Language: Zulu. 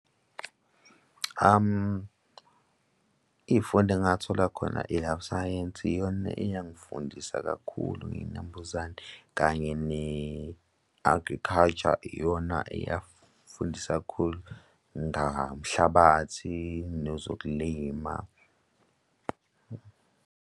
Iy'fundo engingathola khona i-life science iyona eyangifundisa kakhulu ngey'nambuzane kanye ne-agriculture iyona eyafundisa kakhulu ngamhlabathi nozokulima.